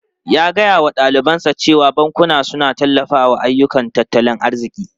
Ya gaya wa dalibansa cewa bankuna suna tallafawa ayyukan tattalin arziki.